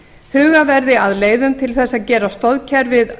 hugað verði að leiðum til þess að gera stoðkerfi